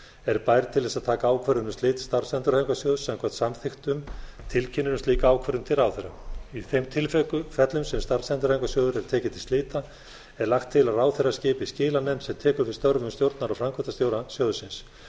er bær til þess að taka ákvörðun um slit starfsendurhæfingarsjóðs samkvæmt samþykktum tilkynnir um slíka ákvörðun til ráðherra í þeim tilfellum sem starfsendurhæfingarsjóður er tekinn til slita er lagt til að ráðherra skipi skilanefnd sem tekur við störfum stjórnar og framkvæmdastjóra sjóðsins